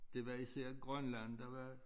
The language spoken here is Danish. Det var især Grønland der var